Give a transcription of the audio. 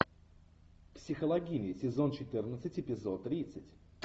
психологини сезон четырнадцать эпизод тридцать